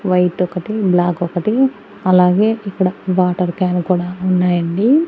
White ఒకటి black ఒకటి అలాగే ఇక్కడ వాటర్ క్యాన్ కూడా ఉన్నాయండి.